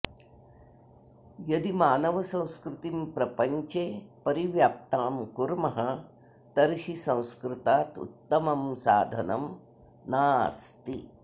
यदि मानवसंस्कृतिं प्रपञ्चे परिव्याप्तां कुर्मः तर्हि संस्कृतात् उत्तमं साधनं नास्ति